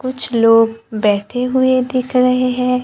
कुछ लोग बैठे हुए दिख रहे हैं।